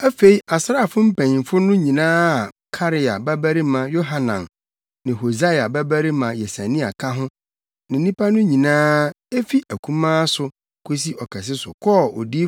Afei asraafo mpanyimfo no nyinaa a Karea babarima Yohanan ne Hosaia babarima Yesania ka ho, ne nnipa no nyinaa, efi akumaa so kosi ɔkɛse so kɔɔ